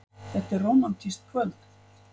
Þetta er rómantískt kvöld.